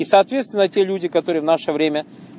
соответственно те люди которые в наше время